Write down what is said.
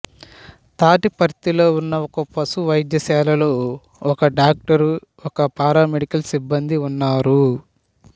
తాటిపర్తిలో ఉన్న ఒక పశు వైద్యశాలలో ఒక డాక్టరు ఒకరు పారామెడికల్ సిబ్బందీ ఉన్నారు